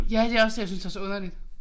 Ja det også det jeg synes er så underligt